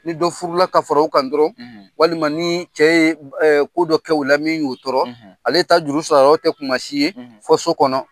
Ni dɔ furula ka fara o kan dɔrɔn walima ni cɛ ye ko dɔ k'ola min y'o tɔrɔ ale ta juru sara yɔrɔ tɛ kumasi ye fɔ so kɔnɔ